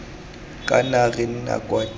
kana re nna kwa teng